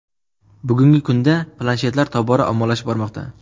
Bugungi kunda planshetlar tobora ommalashib bormoqda.